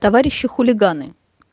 товарищи хулиганы